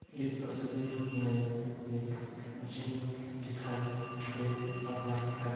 इस तस्वीर में एक जिम दिखाई दे रहा है।